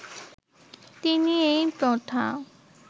তিনি এই প্রথা